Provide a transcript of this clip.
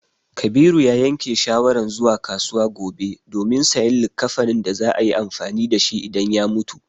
Kabiru ya yanke shawaran zuwa kasuwa gobe domin sayan likkafanin da za a yi amfani da shi idan ya mutu.